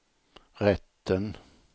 rätten